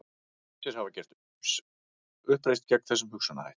Ýmsir hafa gert uppreisn gegn þessum hugsunarhætti.